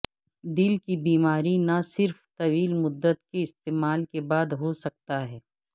دل کی بیماری نہ صرف طویل مدت کے استعمال کے بعد ہو سکتا ہے